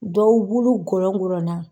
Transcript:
Dɔw bulu gɔlɔgɔlɔnna.